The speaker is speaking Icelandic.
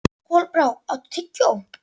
Kolbrá, áttu tyggjó?